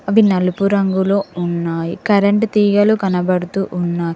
అవి నలుపు రంగులో ఉన్నాయి కరెంట్ తీగలు కనబడుతూ ఉన్నాయి.